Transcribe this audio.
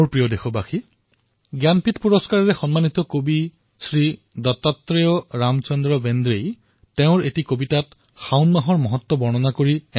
মোৰ মৰমৰ দেশবাসীসকল জ্ঞানপীঠ পুৰস্কাৰেৰে সন্মানিত শ্ৰীমান দত্তাত্ৰেয় ৰামচন্দ্ৰ বেণ্ড্ৰেয়ে নিজৰ এক কবিতাত শাওণ মাহৰ গৰিমা এইদৰে প্ৰকাশ কৰিছে